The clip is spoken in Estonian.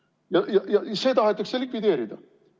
See tahetakse likvideerida.